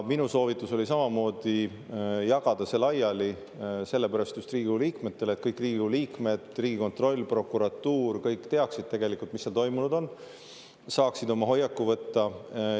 Minu soovitus oli samamoodi jagada see laiali Riigikogu liikmetele just sellepärast, et kõik – Riigikogu liikmed, Riigikontroll, prokuratuur – teaksid tegelikult, mis seal toimunud on, saaksid oma hoiaku võtta.